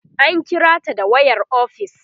an kirata da wayar ofis